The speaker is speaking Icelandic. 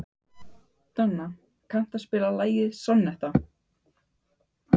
Donna, kanntu að spila lagið „Sonnetta“?